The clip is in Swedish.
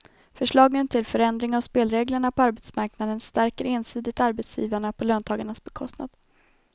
Förslagen till förändring av spelreglerna på arbetsmarknaden stärker ensidigt arbetsgivarna på löntagarnas bekostnad.